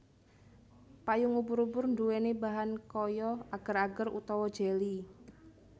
Payung ubur ubur nduweni bahan kaya ager ager utawa jeli